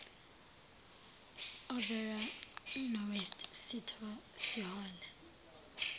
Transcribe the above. overa nowest sihole